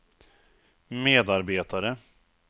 medarbetare